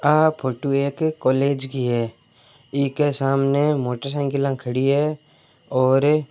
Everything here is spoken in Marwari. आ फोटो एक कॉलेज की है इके सामने मोटरसाइकिले खड़ी है और--